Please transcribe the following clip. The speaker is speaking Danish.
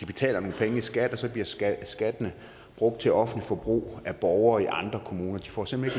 betaler nogle penge i skat og så bliver skatten skatten brugt til offentligt forbrug af borgere i andre kommuner de får simpelt